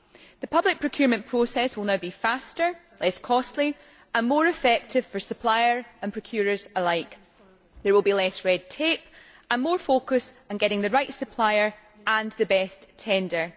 The public procurement process will now be faster, less costly and more effective for suppliers and procurers alike. There will be less red tape and more focus on getting the right supplier and the best tender.